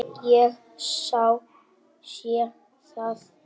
Ég sé það.